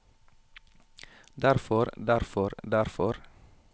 derfor derfor derfor